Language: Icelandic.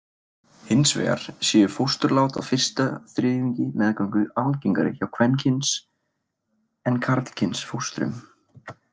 Hins vegar séu fósturlát á fyrsta þriðjungi meðgöngu algengari hjá kvenkyns en karlkyns fóstrum.